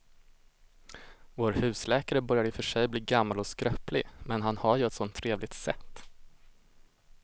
Vår husläkare börjar i och för sig bli gammal och skröplig, men han har ju ett sådant trevligt sätt!